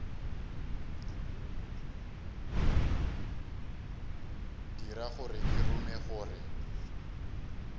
dira gore ke rume gore